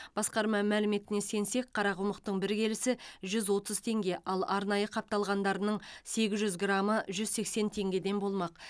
басқарма мәліметіне сенсек қарақұмықтың бір келісі жүз отыз теңге ал арнайы қапталғандарының сегіз жүз грамы жүз сексен теңгеден болмақ